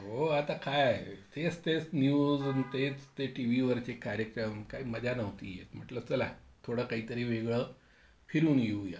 हो आता काय? तेच तेच न्यूज आणि तेच ते टीव्ही वरचे कार्यक्रम, काय मजा नव्हती येत. म्हटलं चला थोडं काहीतरी वेगळं फिरून येऊया.